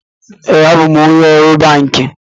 Ee, abụ m onye ọrụ banki